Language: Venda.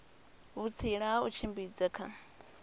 vhutsila ha u tshimbidza kha